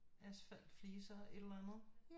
Asfalt fliser et eller andet